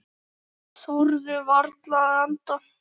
Þorðu varla að anda.